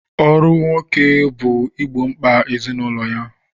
Ọrụ ụmụ nwoke bụ igbo mkpa ezinụlọ ya.